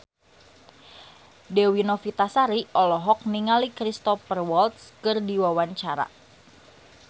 Dewi Novitasari olohok ningali Cristhoper Waltz keur diwawancara